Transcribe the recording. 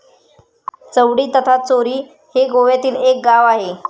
चौंडी तथा चोरी हे गोव्यातील एक गाव आहे.